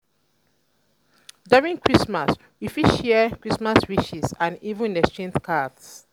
during christmas we fit share christmas wishes and even exchange cards